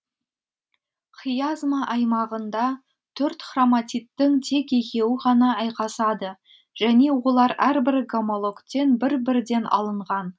хиазма аймағында қырық хроматидтің тек екеуі ғана айқасады жөне олар әрбір гомологтен бір бірден алынған